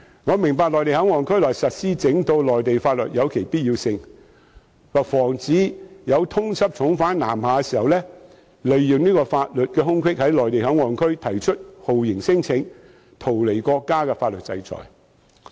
我明白在內地口岸區內實施整套內地法律有其必要性，可防止通緝重犯南下時利用法律空隙在內地口岸區提出酷刑聲請，以逃避國家的法律制裁。